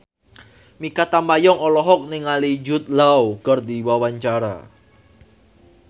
Mikha Tambayong olohok ningali Jude Law keur diwawancara